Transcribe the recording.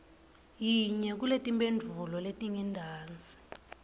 yinye kuletimphendvulo letingentasi